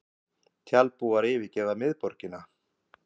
Tjaldbúar yfirgefa miðborgina